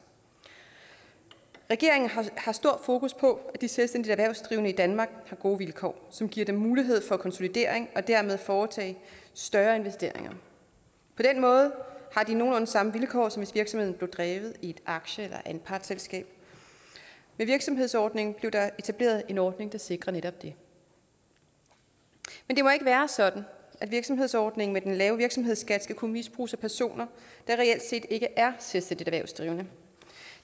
regeringen har stort fokus på at de selvstændigt erhvervsdrivende i danmark har gode vilkår som giver dem mulighed for konsolidering og dermed at foretage større investeringer på den måde har de nogenlunde samme vilkår som virksomheden blev drevet i et aktie eller anpartsselskab med virksomhedsordningen blev der etableret en ordning der sikrer netop det men det må ikke være sådan at virksomhedsordningen med den lave virksomhedsskat skal kunne misbruges af personer der reelt set ikke er selvstændigt erhvervsdrivende